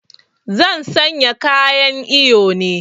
Zan sanya kayan iyo ne